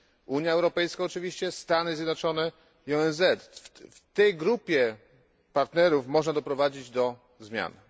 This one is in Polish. Unia Europejska oczywiście, Stany Zjednoczone i ONZ w tej grupie partnerów można doprowadzić do zmian.